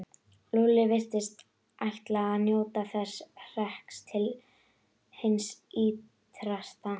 Lúlli virtist ætla að njóta þessa hrekks til hins ýtrasta.